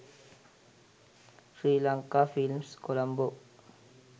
sri lanka films colombo